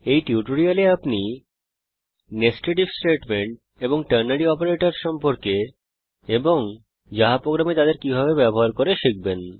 এই টিউটোরিয়ালটি শেষ হওয়ার পূর্বে আপনি nested আইএফ স্টেটমেন্ট এবং টার্নারি অপারেটরসহ সম্পর্কে এবং জাভা প্রোগ্রামে তাদের ব্যবহার করতে শিখবেন